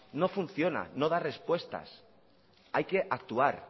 no funciona no da respuestas hay que actuar